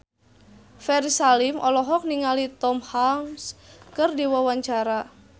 Ferry Salim olohok ningali Tom Hanks keur diwawancara